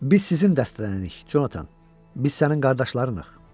Biz sizin dəstədənrik, Jonathan, biz sənin qardaşlarıq.